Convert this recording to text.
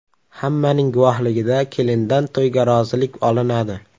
Hammaning guvohligida kelindan to‘yga rozilik olinadi.